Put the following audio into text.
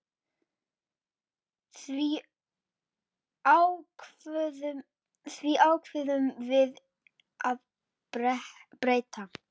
Því ákváðum við að breyta.